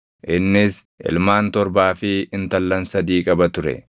Innis ilmaan torbaa fi intallan sadii qaba ture;